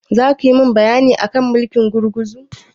Zaki min bayani akan mulkin gurguzu?